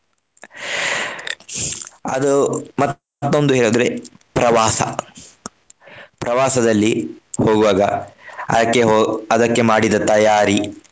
ಅದು ಮತ್ತೊಂದು ಹೇಳಿದ್ರೆ ಪ್ರವಾಸ. ಪ್ರವಾಸದಲ್ಲಿ ಹೋಗುವಾಗ ಅದಕ್ಕೆ ಅದಕ್ಕೆ ಮಾಡಿದ ತಯಾರಿ.